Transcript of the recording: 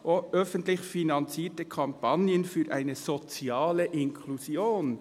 «Öffentlich finanzierte Kampagnen für eine soziale Inklusion».